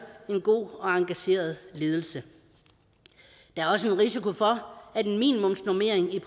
en god og engageret ledelse der er også en risiko for at en minimumsnormering i